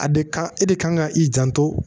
A de kan e de kan ka i janto